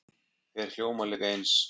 þeir hljóma líka eins